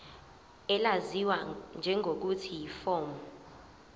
elaziwa ngelokuthi yiform